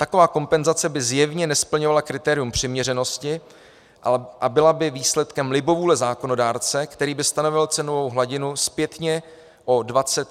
Taková kompenzace by zjevně nesplňovala kritérium přiměřenosti a byla by výsledkem libovůle zákonodárce, který by stanovil cenovou hladinu zpětně o 21 let.